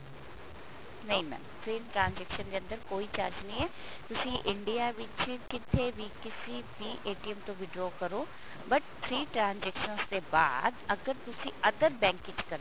ਨਹੀਂ mam ਤਿੰਨ transaction ਦੇ ਅੰਦਰ ਕੋਈ charge ਨਹੀਂ ਹੈ ਤੁਸੀਂ India ਵਿੱਚ ਕਿਤੇ ਵੀ ਕਿਸੀ ਵੀ ਤੋਂ withdraw ਕਰੋ but three transaction ਦੇ ਬਾਅਦ ਅਗਰ ਤੁਸੀਂ other bank ਵਿੱਚ ਕਰਦੇ ਹੋ